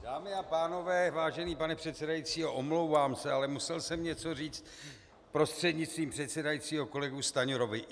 Dámy a pánové, vážený pane předsedající, omlouvám se, ale musel jsem něco říct prostřednictvím předsedajícího kolegu Stanjurovi.